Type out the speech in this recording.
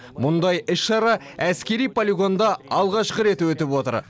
мұндай іс шара әскери полигонда алғашқы рет өтіп отыр